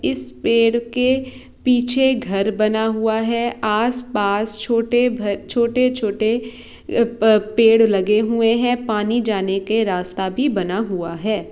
इस पेड़ के पीछे घर बना हुआ है आस-पास छोटे घर छोटे-छोटे पेड़ लगे हुए है पानी जाने के रास्ता भी बना हुआ है।